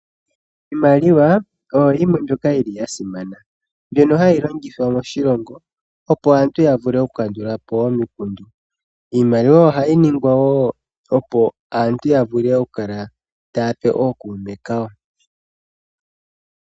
Iimaliwa oyo yimwe mbyoka yi li ya simana mbyono hayi longithwa moshilongo opo aantu ya vule okukandulapo omikundu. Iimaliwa oha yi ningwa wo opo aantu vule okukala taya pe ookuume kawo.